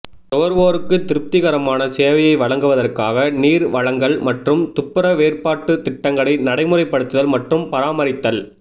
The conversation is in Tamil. நுகர்வோருக்கு திருப்திகரமான சேவையை வழங்குவதற்காக நீர் வழங்கல் மற்றும் துப்புரவேற்பாட்டு திட்டங்களை நடைமுறைப்படுத்துதல் மற்றும் பராமரித்தல்